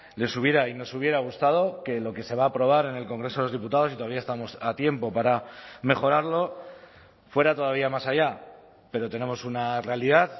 les hubiera y nos hubiera gustado que lo que se va a aprobar en el congreso de los diputados y todavía estamos a tiempo para mejorarlo fuera todavía más allá pero tenemos una realidad